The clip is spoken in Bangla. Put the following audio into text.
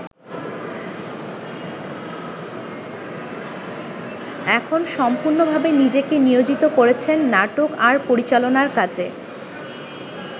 এখন সম্পূর্ণভাবে নিজেকে নিয়োজিত করেছেন নাটক আর পরিচালনার কাজে।